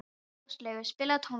Áslaugur, spilaðu tónlist.